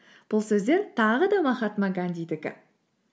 бұл сөздер тағы да махатма гандидікі